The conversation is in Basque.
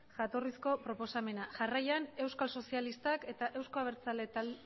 jatorrizko proposamena